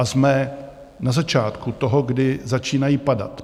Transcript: A jsme na začátku toho, kdy začínají padat.